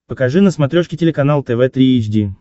покажи на смотрешке телеканал тв три эйч ди